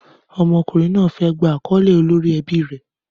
Ọmọkùnrin náà fẹ́ gba àkọ́lé olórí ẹbí rẹ̀.